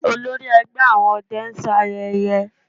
Olórí ẹgbẹ́ àwọn ọdẹ ń ṣayẹyẹ